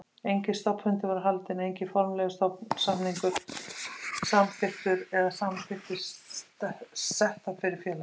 Enginn stofnfundur var haldinn, enginn formlegur stofnsamningur samþykktur eða samþykktir settar fyrir félagið.